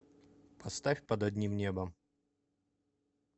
поставь под одним небом